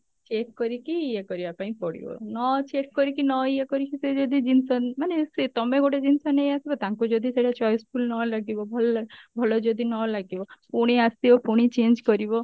check କରିକି ଇଏ କରିବା ପାଇଁ ପଡିବ ନ check କରିକି ନ ଇଏ କରିକି ସେ ଯଦି ଜିନିଷ ମାନେ ସେ ତମେ ଗୋଟେ ଜିନିଷ ନେଇଆସିବ ତାଙ୍କୁ ଯଦି ସେଇଟା choiceful ନଲାଗିବ ଭଲ ଭଲ ଯଦି ନଲାଗିବ ପୁଣି ଆସିବ ପୁଣି change କରିବ